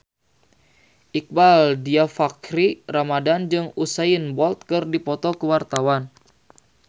Iqbaal Dhiafakhri Ramadhan jeung Usain Bolt keur dipoto ku wartawan